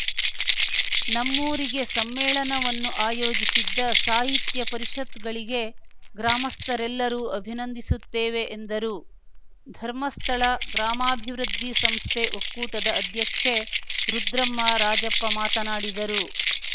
ನಮ್ಮೂರಿಗೆ ಸಮ್ಮೇಳನವನ್ನು ಆಯೋಜಿಸಿದ್ದ ಸಾಹಿತ್ಯ ಪರಿಷತ್‌ಗಳಿಗೆ ಗ್ರಾಮಸ್ಥರೆಲ್ಲರೂ ಅಭಿನಂದಿಸುತ್ತೇವೆ ಎಂದರು ಧರ್ಮಸ್ಥಳ ಗ್ರಾಮಾಭಿವೃದ್ದಿ ಸಂಸ್ಥೆ ಒಕ್ಕೂಟದ ಅಧ್ಯಕ್ಷೆ ರುದ್ರಮ್ಮ ರಾಜಪ್ಪ ಮಾತನಾಡಿದರು